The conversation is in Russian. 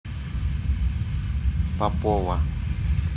попова